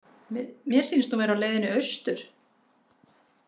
Mér sýnist hún vera á leiðinni austur.